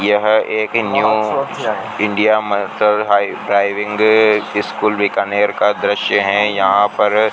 यह एक new India driving school Bikaner का दृश्य है यहां पर --